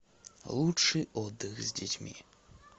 лучший отдых с детьми